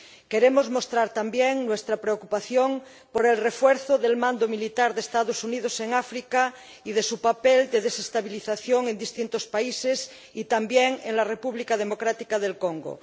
Queremos mostrar, también, nuestra preocupación por el refuerzo del mando militar de los Estados Unidos en África y de su papel de desestabilización en distintos países y también en la República Democrática del Congo.